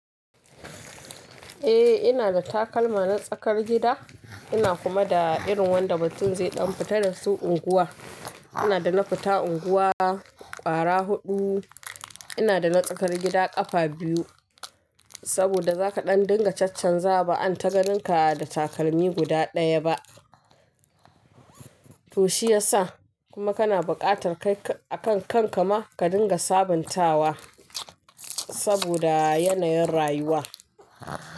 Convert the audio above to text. Eh ina da takalma na tsakar gida ina kuma da irin wanda mutun zai ɗan fita da su unguwa. Ina da na fita unguwa ƙwara huɗu ina da na tsakar gida ƙafa biyu. Saboda zaka ɗan dinga caccanzawa za ba an taganinka da takalmi guda ɗaya ba. To shiyasa kuma kana buƙatar kai akan kanka ma ka dinga sabuntawa saboda yanayin rayuwa.